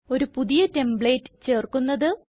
ഒരു പുതിയ ടെംപ്ലേറ്റ് ചേർക്കുന്നത്